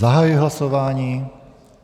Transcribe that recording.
Zahajuji hlasování.